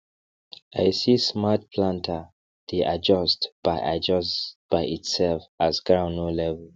i see smart planter dey adjust by adjust by itself as ground no level